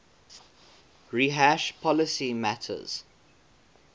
rehash policy matters